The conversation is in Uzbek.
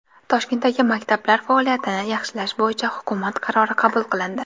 Toshkentdagi maktablar faoliyatini yaxshilash bo‘yicha hukumat qarori qabul qilindi.